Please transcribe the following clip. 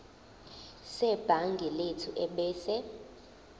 sebhangi lethu ebese